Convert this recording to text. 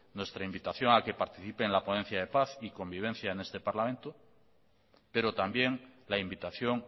nuestra invitación a que participe en la ponencia de paz y convivencia en este parlamento pero también la invitación